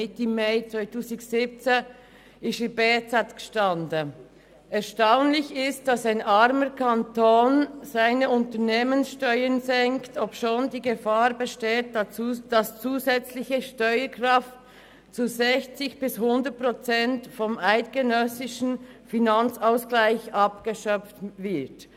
Mitte 2017 stand in der «Berner Zeitung», es sei erstaunlich, dass ein armer Kanton seine Unternehmenssteuern senke, obschon die Gefahr bestehe, dass zusätzliche Steuerkraft zu 60 bis 100 Prozent vom eidgenössischen Finanzausgleich abgeschöpft werde.